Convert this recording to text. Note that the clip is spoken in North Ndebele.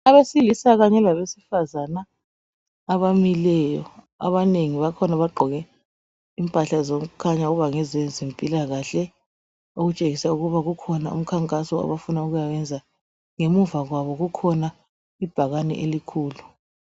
Abesilisa kanye labesifazana abamileyo, abanengi bakhona bagqoke impahla zokukhanya ukuba ngezezimpilakahle okutshengisa ukuba ukhona umkhankaso abafuna ukuyawenza. Ngemuva kwabo kukhona ibhakane elikhulu.